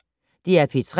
DR P3